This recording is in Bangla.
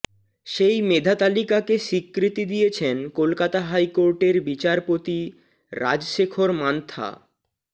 সেই মেধাতালিকাকে স্বীকৃতি দিয়েছেন কলকাতা হাইকোর্টের বিচারপতি রাজশেখর মান্থা